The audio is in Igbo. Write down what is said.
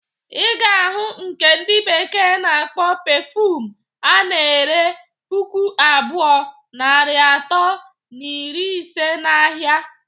Iga ahu nke ndi bekee na-akpọ perfume ana-ere puku abụọ, narị atọ na iri ise na ahia.